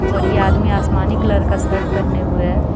और यह आदमी आसमानी कलर का सर्ट पहने हुए है.